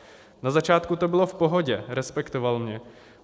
Na začátku to bylo v pohodě, respektoval mě.